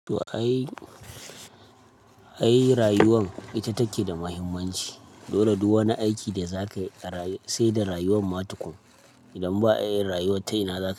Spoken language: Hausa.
To ai, ai rayuwan ita take da mahimmanci. Dole duk wani aiki da za kai a rayu, sai da rayuwan ma tukun. Idan ba a yin rayuwa tayina za ka.